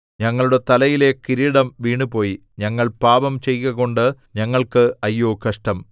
ഞങ്ങളുടെ തലയിലെ കിരീടം വീണുപോയി ഞങ്ങൾ പാപം ചെയ്കകൊണ്ട് ഞങ്ങൾക്ക് അയ്യോ കഷ്ടം